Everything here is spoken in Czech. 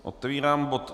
Otevírám bod